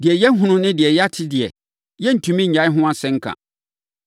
Deɛ yɛahunu ne deɛ yɛate deɛ, yɛrentumi nnyae ho asɛnka.”